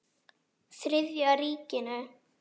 Þriðja ríkinu.